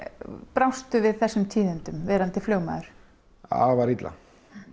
brást þú við þessum tíðindum verandi flugmaður afar illa